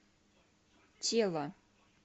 тело